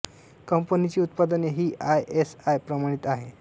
कंपनीची उत्पादने ही आय एस आय प्रमाणित आहे